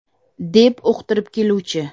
deb uqtiribdi keluvchi.